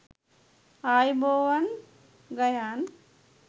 ආයුබෝවන් ගයාන්